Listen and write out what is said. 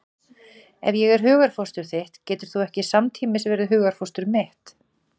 Ef ég er hugarfóstur þitt getur þú ekki samtímis verið hugarfóstur mitt.